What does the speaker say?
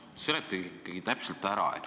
Seletage ikkagi täpselt ära.